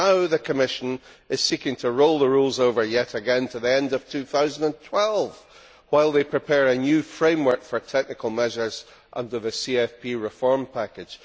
Now the Commission is seeking to roll the rules over yet again to the end of 2012 while it prepares a new framework for technical measures under the CFP reform package.